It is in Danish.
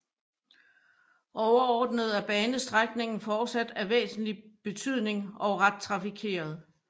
Overordnet er banestrækningen fortsat af væsentlig betydning og ret trafikeret